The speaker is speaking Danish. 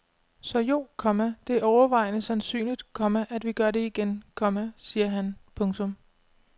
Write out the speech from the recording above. Så jo, komma det er overvejende sandsynligt, komma at vi gør det igen, komma siger han. punktum